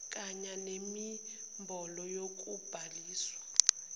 kanya nenombholo yokubhaliswa